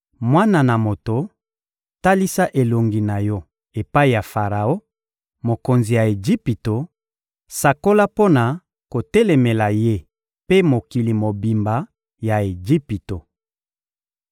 «Mwana na moto, talisa elongi na yo epai ya Faraon, mokonzi ya Ejipito, sakola mpo na kotelemela ye mpe mokili mobimba ya Ejipito!